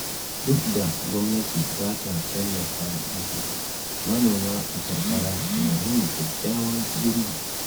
Duk da gwamnati bata tallafa musu, manoma a karkara na yin kyakkyawan girbi.